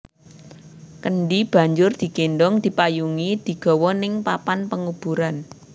Kendhi banjur digendhong dipayungi digawa ning papan penguburan